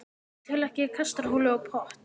Ég tel ekki kastarholu og pott.